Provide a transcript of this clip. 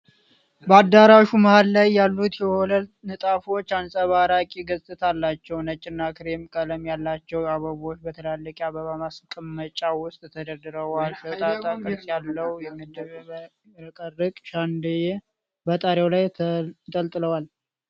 በአዳራሹ መሃል ላይ ያሉት የወለል ንጣፎች አንጸባራቂ ገጽታ አላቸው። ነጭና ክሬም ቀለም ያላቸው አበቦች በትላልቅ የአበባ ማስቀመጫዎች ውስጥ ተደርድረዋል። ሾጣጣ ቅርጽ ያለው የሚያብረቀርቅ ሻንደልዬ በጣሪያው ላይ ተንጠልጥሏል።